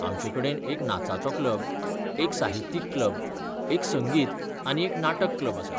आमचेकडेन एक नाचाचो क्लब, एक साहित्यीक क्लब, एक संगीत आनी एक नाटक क्लब आसा.